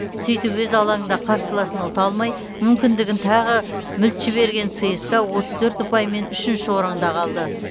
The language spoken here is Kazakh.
сөйтіп өз алаңында қарсыласын ұта алмай мүмкіндігін тағы мүлт жіберген цска отыз төрт ұпаймен үшінші орында қалды